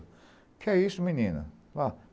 O que é isso, menina?